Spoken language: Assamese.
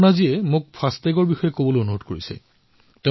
অপৰ্ণাজীয়ে মোক ফাষ্টাগ Programmeৰ বিষয়ে কোৱাৰ বাবে পৰামৰ্শ দিছে